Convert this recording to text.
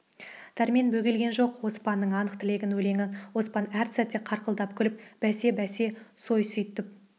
дәрмен бөгелген жоқ оспанның анық тілеген өлеңі оспан әр сәтте қарқылдап күліп бәсе бәсе сой сөйтіп